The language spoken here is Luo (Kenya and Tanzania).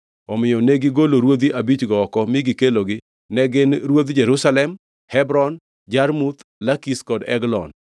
Omiyo negigolo ruodhi abichgo oko mi gikelogi, ne gin ruodh Jerusalem, Hebron, Jarmuth, Lakish kod Eglon.